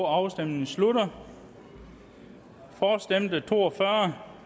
afstemningen slutter for stemte to og fyrre